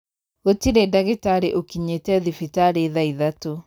Gũtirĩ ndagĩtarĩ ũkinyite thibitarĩ thaa ithatũ.